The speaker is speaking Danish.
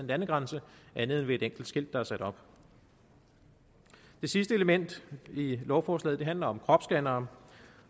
landegrænse andet end ved et enkelt skilt der er sat op det sidste element i lovforslaget handler om kropsscannere